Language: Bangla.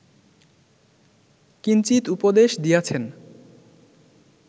কিঞ্চিৎ উপদেশ দিয়াছেন